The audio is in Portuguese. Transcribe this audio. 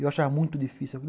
Eu achava muito difícil.